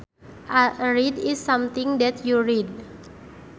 A read is something that you read